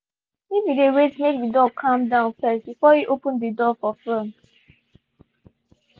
he been wait make the dog calm down first before he open the door for front.